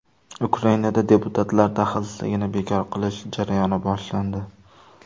Ukrainada deputatlar daxlsizligini bekor qilish jarayoni boshlandi.